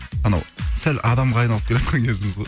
анау сәл адамға айналып келеатқан кезіміз ғой